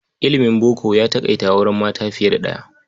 Ilimin boko ya taƙaita auren mata fiye da ɗaya.